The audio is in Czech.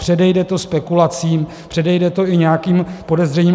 Předejde to spekulacím, předejde to i nějakým podezřením.